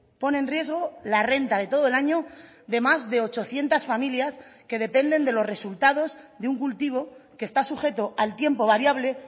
pone en riesgo la renta de todo el año de más de ochocientos familias que dependen de los resultados de un cultivo que está sujeto al tiempo variable